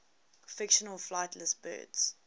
fictional flightless birds